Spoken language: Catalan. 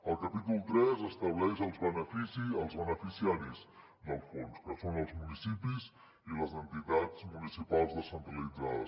el capítol tres estableix els beneficiaris del fons que són els municipis i les entitats municipals descentralitzades